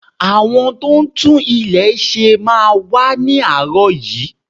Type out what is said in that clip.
Àwọn tó ń tún ilé ṣe máa wá ni aarọ yìí.